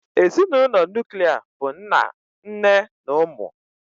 Ezinụlọ nuklia bụ nna nne na ụmụ.